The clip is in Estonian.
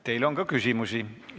Teile on ka küsimusi.